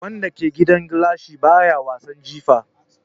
Wanda ke gidan gilashi baya wasan jifa.